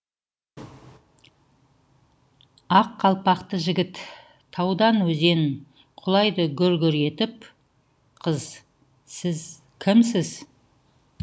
аққалпақты жігіт таудан өзен құлайды гүр гүр етіп қыз сіз кімсіз